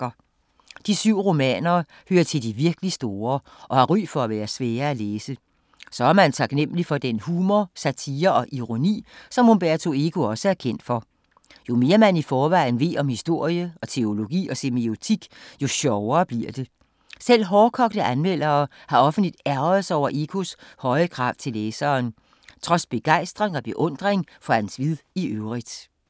De syv romaner hører til de virkelig store og har ry for at være svære at læse. Så er man taknemmelig for den humor, satire og ironi som Umberto Eco også er kendt for. Jo mere man i forvejen ved om historie og teologi og semiotik, jo sjovere bliver det! Selv hårdkogte anmeldere har offentligt ærgret sig over Ecos høje krav til læseren, trods begejstring og beundring for hans vid i øvrigt.